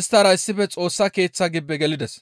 isttara issife Xoossa Keeththa gibbe gelides.